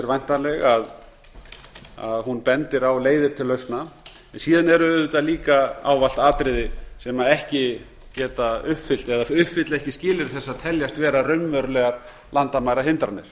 væntanleg að hún bendir á leiðir til lausna síðan eru auðvitað líka ávallt atriði sem ekki geta uppfyllt eða uppfylla ekki skilyrði þess að teljast vera raunverulegar landamærahindranir